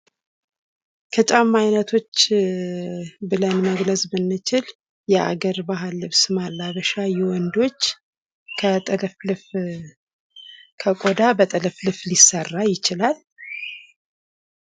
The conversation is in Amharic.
የጫማ አይነቶች ብለን መግለጽ ብንችል የአገር ባህል ልብስ ማላበሻ የወንዶች ከቆዳ በጥልፍልፍ ሊሰራ ይችላል።